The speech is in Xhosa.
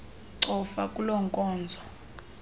cofa kuloo nkonzo